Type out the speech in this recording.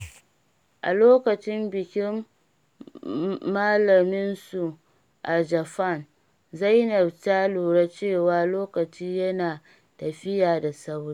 A lokacin bikin malaminsu a Japan, Zainab ta lura cewa lokaci yana tafiya da sauri.